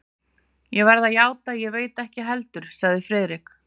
Ég verð að játa, að ég veit það ekki heldur sagði Friðrik.